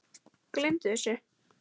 Gleymdu þessu